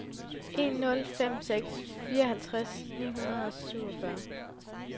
en nul fem seks fireoghalvfjerds ni hundrede og syvogfyrre